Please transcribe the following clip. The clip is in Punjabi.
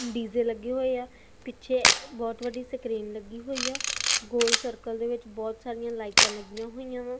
ਡੀਜੇ ਲੱਗੇ ਹੋਏ ਆ ਪਿੱਛੇ ਬਹੁਤ ਵੱਡੀ ਸਕਰੀਨ ਲੱਗੀ ਹੋਈ ਆ ਗੋਲ ਸਰਕਲ ਦੇ ਵਿੱਚ ਬਹੁਤ ਸਾਰੀਆਂ ਲਾਈਟਾਂ ਲੱਗੀਆਂ ਹੋਈਆਂ ਵਾ।